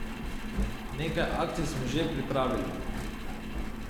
Nekaj akcij smo že pripravili.